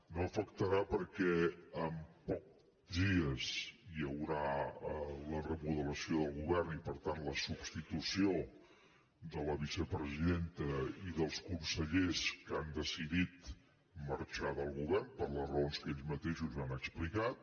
no l’afectarà perquè d’aquí a pocs dies hi haurà la remodelació del govern i per tant la substitució de la vicepresidenta i dels consellers que han decidit marxar del govern per les raons que ells mateixos han explicat